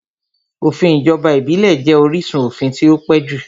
Òfin ìjọba ìbílẹ̀ jẹ́ orísun òfin tí ó pẹ́ jù